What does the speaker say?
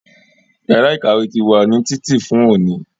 Yàrá ìkàwé ti wà ní títì fún òní